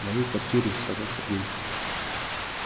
в моей квартире сказал сергей